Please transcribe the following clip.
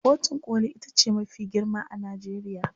kotun koli itace mafi girma a Najeriya